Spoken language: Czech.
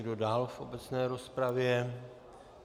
Kdo dál v obecné rozpravě?